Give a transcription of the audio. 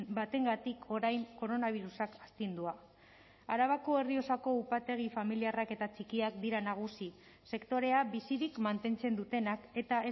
batengatik orain koronabirusak astindua arabako errioxako upategi familiarrak eta txikiak dira nagusi sektorea bizirik mantentzen dutenak eta